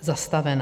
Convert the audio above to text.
zastavena.